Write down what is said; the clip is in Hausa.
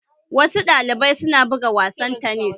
Wasu ɗalibai su na buga wasan tanis